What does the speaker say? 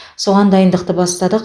соған дайындықты бастадық